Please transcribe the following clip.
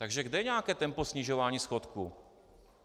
Takže kde je nějaké tempo snižování schodku?